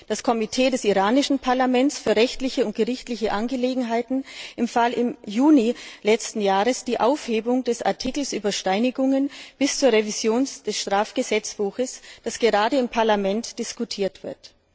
Das Komitee des iranischen Parlaments für rechtliche und gerichtliche Angelegenheiten empfahl im Juni letzten Jahres die Aufhebung des Artikels über Steinigungen bis zur Revision des Strafgesetzbuches, worüber gerade im Parlament diskutiert wird.